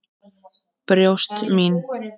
Brjóst mín.